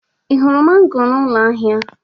Ị hụrụ mango n'ụlọ ahịa?